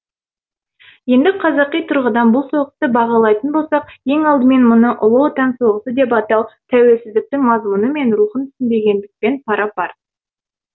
енді қазақи тұрғыдан бұл соғысты бағалайтын болсақ ең алдымен мұны ұлы отан соғысы деп атау тәуелсіздіктің мазмұны мен рухын түсінбегендікпен пара пар